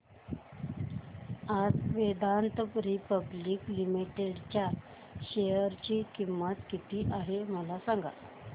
आज Vedanta public limited च्या share ची किंमत किती आहे मला सांगा